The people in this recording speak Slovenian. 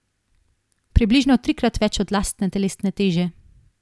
Približno trikrat več od lastne telesne teže.